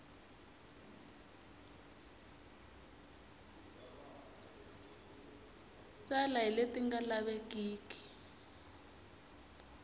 tala hi leti nga lavekeki